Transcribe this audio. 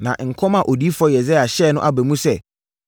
Na nkɔm a Odiyifoɔ Yesaia hyɛɛ no aba mu sɛ: